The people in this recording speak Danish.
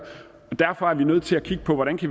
og derfor er vi nødt til at kigge på hvordan vi